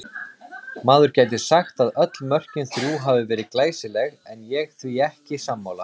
Maður gæti sagt að öll mörkin þrjú hafi verið glæsileg en ég því ekki sammála.